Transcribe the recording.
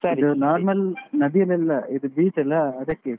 normal ನದಿಯಲ್ಲ, ಇದು beach ಅಲ್ಲಾ ಅದಕ್ಕೆ.